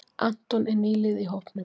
Anton er nýliði í hópnum.